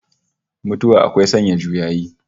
Mutuwa akwai sanya juyayi